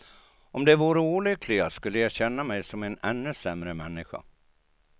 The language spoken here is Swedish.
Om de vore olyckliga, skulle jag känna mig som en ännu sämre människa.